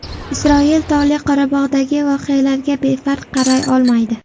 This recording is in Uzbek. Isroil Tog‘li Qorabog‘dagi voqealarga befarq qaray olmaydi.